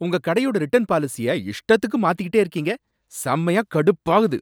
உங்க கடையோட ரிட்டர்ன் பாலிசிய இஷ்டத்துக்கு மாத்திக்கிட்டே இருக்கீங்க! செமையா கடுப்பாகுது.